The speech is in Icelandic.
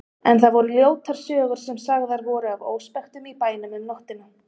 En það voru ljótar sögur sem sagðar voru af óspektum í bænum um nóttina.